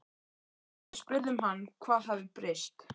Við spurðum hann hvað hafi breyst?